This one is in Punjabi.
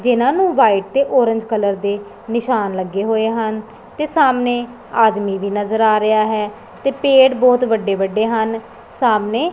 ਜਿਹਨਾਂ ਨੂੰ ਵ੍ਹਾਈਟ ਤੇ ਔਰੇਂਜ ਕਲਰ ਦੇ ਨਿਸ਼ਾਨ ਲੱਗੇ ਹੋਏ ਹਨ ਤੇ ਸਾਹਮਨੇ ਆਦਮੀ ਵੀ ਨਜ਼ਰ ਆ ਰਿਹਾ ਹੈ ਤੇ ਪੇੜ ਬੋਹਤ ਵੱਡੇ ਵੱਡੇ ਹਨ ਸਾਹਮਨੇ।